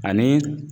Ani